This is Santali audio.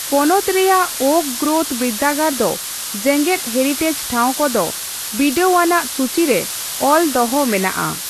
ᱯᱚᱱᱚᱛ ᱨᱮᱭᱟᱜ ᱳᱠ ᱜᱨᱳᱵᱷ ᱵᱤᱨᱫᱟᱹᱜᱟᱲ ᱫᱚ ᱡᱮᱜᱮᱫ ᱦᱮᱨᱤᱴᱮᱡᱽ ᱴᱷᱟᱣ ᱠᱚᱫᱚ ᱵᱤᱰᱟᱹᱣ ᱟᱱᱟᱜ ᱥᱩᱪᱤ ᱨᱮ ᱚᱞ ᱫᱚᱦᱚ ᱢᱮᱱᱟᱜᱼᱟ ᱾